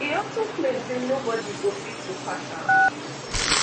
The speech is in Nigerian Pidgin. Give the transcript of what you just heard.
e also claim say nobodi go fit to pass am